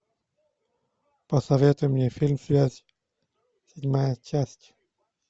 посоветуй мне фильм связь седьмая часть